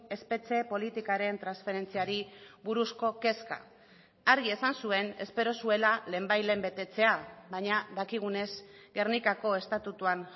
espetxe politikaren transferentziari buruzko kezka argi esan zuen espero zuela lehenbailehen betetzea baina dakigunez gernikako estatutuan